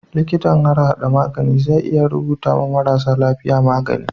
Liƙitan harhada magani zai iya rubuta ma marasa lafiya magani